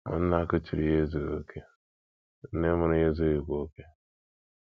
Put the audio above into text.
Ma nna kuchiri ya ezughị okè; nne mụrụ ya ezughịkwa okè.